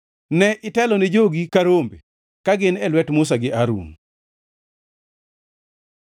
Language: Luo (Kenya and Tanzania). Ne itelone jogi ka rombe ka gin e lwet Musa gi Harun.